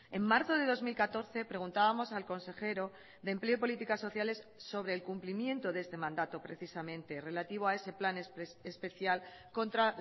en marzo de dos mil catorce preguntábamos al consejero de empleo y políticas sociales sobre el cumplimiento de este mandato precisamente relativo a ese plan especial contra